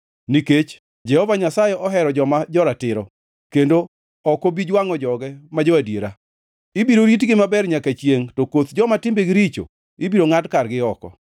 Nikech Jehova Nyasaye ohero joma joratiro, kendo ok obi jwangʼo joge ma jo-adiera. Ibiro ritgi maber nyaka chiengʼ, to koth joma timbegi richo, ibiro ngʼad kargi oko;